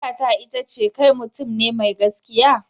Tambayata ita ce kai mutum ne mai gaskiya?